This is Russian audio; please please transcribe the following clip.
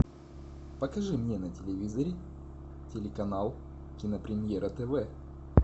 покажи мне на телевизоре телеканал кинопремьера тв